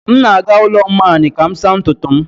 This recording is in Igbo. M na-aga ụlọ mmany ka m saa ntutu m